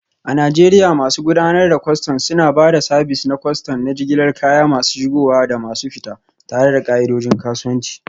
A Najeriya, masu gudanar da kwastam suna ba da sabis na kwastam na jigilar kaya masu shigowa da masu fita, tare da ka'idojin kasuwanci.